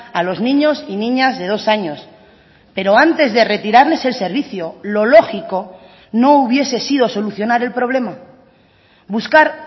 a los niños y niñas de dos años pero antes de retirarles el servicio lo lógico no hubiese sido solucionar el problema buscar